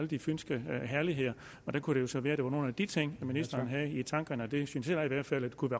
de fynske herligheder og der kunne det jo så være at det var nogle af de ting ministeren havde i tankerne og det synes jeg da i hvert fald kunne